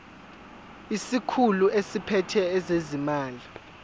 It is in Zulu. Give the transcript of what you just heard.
isikhulu esiphethe ezezimali